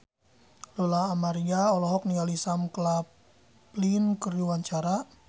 Lola Amaria olohok ningali Sam Claflin keur diwawancara